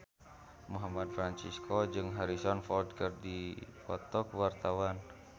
Muhammad Fachroni jeung Harrison Ford keur dipoto ku wartawan